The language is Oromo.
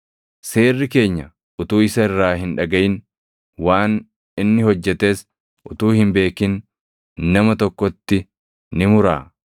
“Seerri keenya utuu isa irraa hin dhagaʼin, waan inni hojjetes utuu hin beekin nama tokkotti ni muraa?”